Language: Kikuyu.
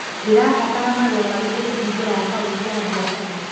Ndĩrabatara marũa marĩkũ kũhingũra akaũnti ya biacara.